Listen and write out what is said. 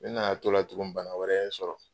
Ne nana t'o la tugun bana wɛrɛ ye n sɔrɔ.